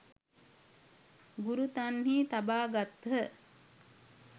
ගුරු තන්හි තබා ගත්හ.